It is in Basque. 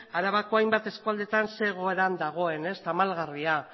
arabako hainbat eskualdeetan zein egoeran dagoen tamalgarria